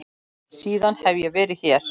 Síðan hef ég verið hér.